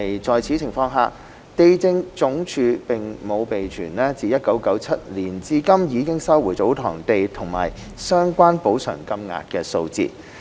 在此情況下，地政總署並無備存自1997年至今已收回的祖堂地及相關補償金額的數字。